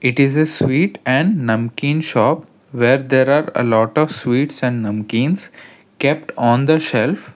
It is a sweet and namkin shop where there are a lot of sweets and namkins kept on the shelf.